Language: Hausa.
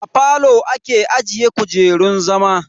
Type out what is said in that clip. A falo ake ajiye kujerun zama.